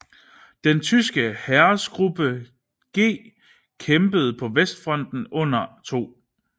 Den tyske Heeresgruppe G kæmpede på Vestfronten under 2